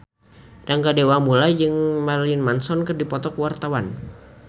Rangga Dewamoela jeung Marilyn Manson keur dipoto ku wartawan